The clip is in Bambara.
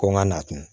Ko n ka na tun